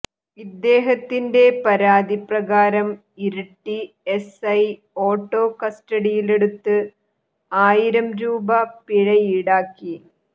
ഇദ്ദേഹത്തിന്റെ പരാതി പ്രകാരം ഇരിട്ടി എസ്ഐ ഓട്ടോ കസ്റ്റഡിയിലെടുത്ത് ആയിരം രൂപ പിഴയീടാക്കി